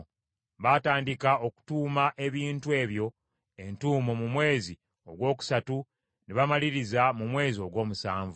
Baatandika okutuuma ebintu ebyo entuumo mu mwezi ogwokusatu ne bamaliriza mu mwezi ogw’omusanvu.